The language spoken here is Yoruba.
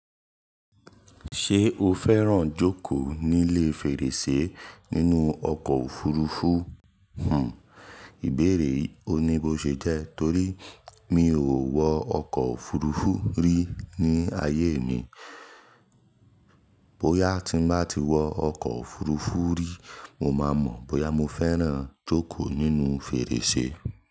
Ṣé o fẹ́ràn jókòó nílé fèrèsé nínú ọkọ̀ òfurufú? Hmm ìbéèyi oni bó ṣe jẹ torí mi ò wọ ọkọ̀ òfurufú rí ní ayé mi. Bóyá tí n bá ti wọ ọkọ̀ òfurufú rí, mo ma mọ bóyá mo fẹ́ràn jókòó nínú fèrèsé.